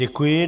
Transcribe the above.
Děkuji.